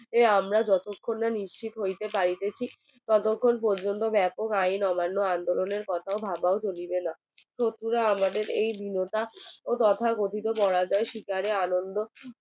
আমরা যতখন না নিশ্চিত হইতে পারিতেছি ততখন পর্যন্ত বেপক আইন অমান্য আন্দোলনের কথা ভাবা চলিবেনা আমাদের আমাদের এই বিনত ও তথা গঠিত করা যায় শিকারে আনন্দ